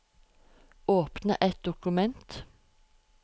Åpne et dokument